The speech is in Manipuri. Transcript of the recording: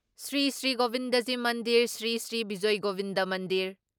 ꯁ꯭ꯔꯤ ꯁ꯭ꯔꯤ ꯒꯣꯕꯤꯟꯗꯖꯤ ꯃꯟꯗꯤꯔ, ꯁ꯭ꯔꯤ ꯁ꯭ꯔꯤ ꯕꯤꯖꯏ ꯒꯣꯕꯤꯟꯗ ꯃꯟꯗꯤꯔ,